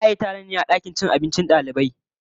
Za a yi taron ne a dakin cin abincin dalibai